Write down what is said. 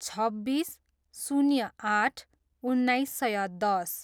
छब्बिस, शून्य आठ, उन्नाइस सय दस